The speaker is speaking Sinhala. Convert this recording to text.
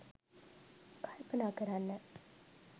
කල්පනා කරන්න